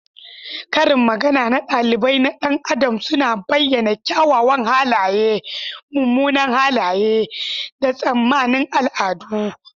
Karin magana na ɗabi'a na ɗan adam suna bayyana kyawawan halaye, munanan halaye, da tsammanin al'adu.